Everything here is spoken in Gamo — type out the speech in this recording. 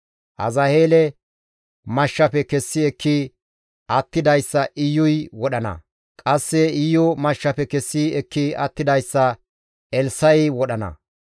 Azaheele mashshafe kessi ekki attidayssa Iyuy wodhana; qasse Iyu mashshafe kessi ekki attidayssa Elssa7i wodhana.